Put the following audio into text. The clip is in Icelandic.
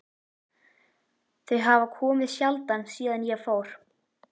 Þau hafa komið sjaldan síðan ég fór.